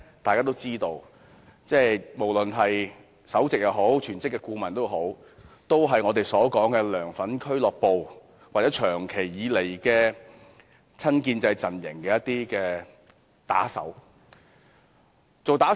大家都知道，無論是首席顧問或是屬於全職的顧問，都是"梁粉俱樂部"的人或一直是親建制陣營的打手。